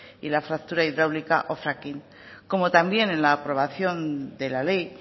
y la fractura hidráulica o fracking como también en la aprobación de la ley